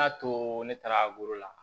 N y'a to ne taara la